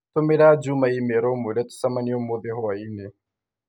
Tũmĩra Juma i-mīrū ũmũire tũcemanie ũmũthĩ hwaĩinĩ